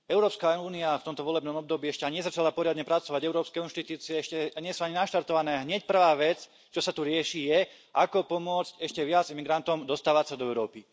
Európska únia v tomto volebnom období ešte ani nezačala poriadne pracovať, európske inštitúcie ešte nie sú ani naštartované, a hneď prvá vec, čo sa tu rieši, je ako pomôcť ešte viac imigrantom dostávať sa do Európy.